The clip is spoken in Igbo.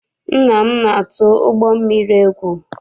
Nna m na-atụ ụgbọ mmiri egwu.